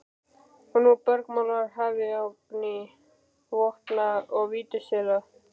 Og nú bergmálar hafið af gný vopna og vítisvéla.